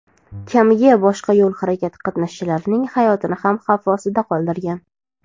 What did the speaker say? kamiga boshqa yo‘l harakati qatnashchilarining hayotini ham xavf ostida qoldirgan.